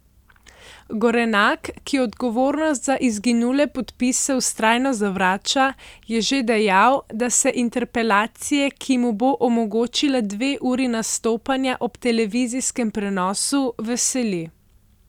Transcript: Gorenak, ki odgovornost za izginule podpise vztrajno zavrača, je že dejal, da se interpelacije, ki mu bo omogočila dve uri nastopanja ob televizijskem prenosu, veseli.